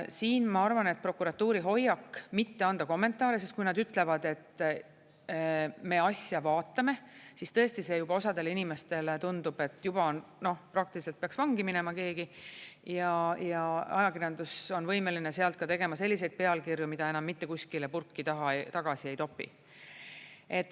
Siin ma arvan, et prokuratuuri hoiak mitte anda kommentaare, sest kui nad ütlevad, et me asja vaatame, siis tõesti see ju osadele inimestele tundub, et juba on, noh, praktiliselt peaks vangi minema keegi, ja ajakirjandus on võimeline sealt tegema selliseid pealkirju, mida enam mitte kuskile purki tagasi ei topi.